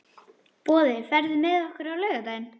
Boði, ferð þú með okkur á laugardaginn?